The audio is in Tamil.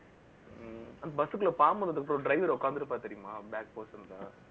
ஹம் அந்த bus க்குள்ள, பாம்பு வந்ததுக்கப்புறம், driver உட்கார்ந்திருப்பாரு, தெரியுமா back portion ல